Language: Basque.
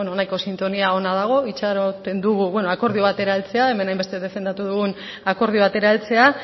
nahiko sintonia ona dago itxaroten dugu akordio batera heltzea hemen hainbeste defendatu dugun akordio batera heltzea